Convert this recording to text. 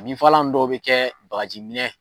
Binfagalan nu dɔw be kɛ bagajiminɛn